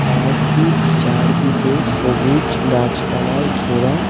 পার্কটির চারদিকে সবুজ গাছপালায় ঘেরা।